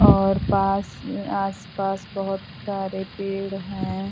और पास में आस-पास बहुत सारे पेड़ हैं।